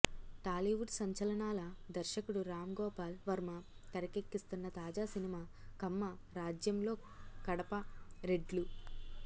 టాలీవుడ్ సంచలనాల దర్శకుడు రాంగోపాల్ వర్మ తెరకెక్కిస్తున్న తాజా సినిమా కమ్మ రాజ్యంలో కడప రెడ్లు